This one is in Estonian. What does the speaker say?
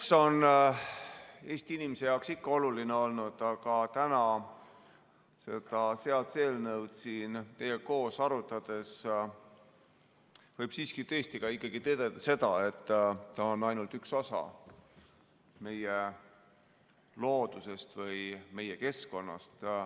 Mets on Eesti inimese jaoks ikka oluline olnud, aga täna seda seaduseelnõu siin teiega koos arutades võib siiski tõdeda seda, et ta on ainult üks osa meie loodusest või meie keskkonnast.